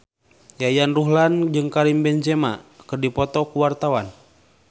Yayan Ruhlan jeung Karim Benzema keur dipoto ku wartawan